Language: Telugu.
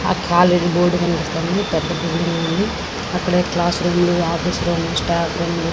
ఆ కాలేజీ బోర్డు కనిపిస్తుంది. పెద్ద బిల్డింగ్ ఉంది. అక్కడే class room office room staff room --